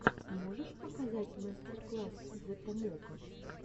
можешь показать мастер класс зэ томоко